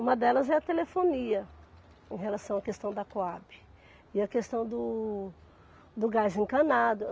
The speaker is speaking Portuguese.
Uma delas é a telefonia em relação à questão da Coabe e a questão do do gás encanado.